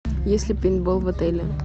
есть ли пейнтбол в отеле